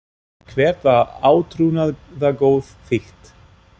Hvert var átrúnaðargoð þitt?